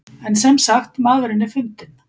En semsagt maðurinn er fundinn.